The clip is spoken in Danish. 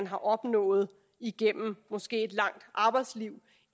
har opnået igennem måske et langt arbejdsliv